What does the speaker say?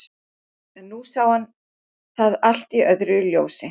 En nú sá hann það allt í öðru ljósi.